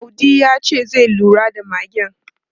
Audi ya ce zai lura da magen.